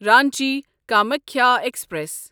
Ranchi Kamakhya express